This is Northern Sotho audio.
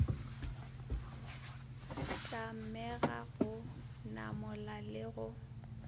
tlamega go namola le go